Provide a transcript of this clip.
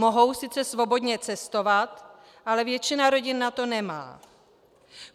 Mohou sice svobodně cestovat, ale většina rodin na to nemá.